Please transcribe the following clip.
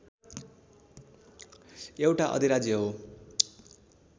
एउटा अधिराज्य हो